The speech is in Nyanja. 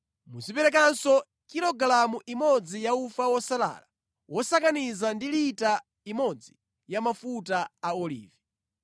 Muziperekanso kilogalamu imodzi ya ufa wosalala wosakaniza ndi lita imodzi ya mafuta a olivi.